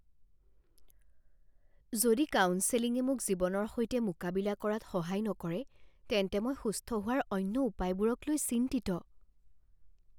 যদি কাউন্সেলিঙে মোক জীৱনৰ সৈতে মোকাবিলা কৰাত সহায় নকৰে তেন্তে মই সুস্থ হোৱাৰ অন্য উপায়বোৰকলৈ চিন্তিত।